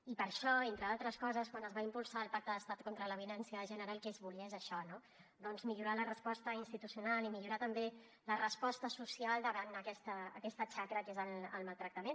i per això entre d’altres coses quan es va impulsar el pacte d’estat contra la violència de gènere el que es volia és això no millorar la resposta institucional i millorar també la resposta social davant aquesta xacra que és el maltractament